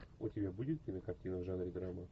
у тебя будет кинокартина в жанре драма